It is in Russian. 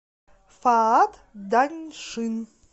фаат даньшин